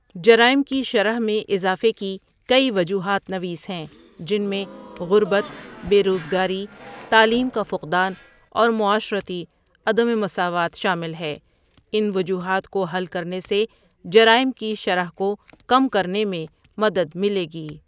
جرائم کے شرح میں اضافے کی کئی وجوہات نویس ہیں جِن میں غربت بےروزگاری تعلیم کا فقدان اور معاشرتی عدمِ مساوات شامل ہے اِن وجوہات کو حل کرنے سے جرائم کی شرح کو کم کرنے میں مدد مِلے گی.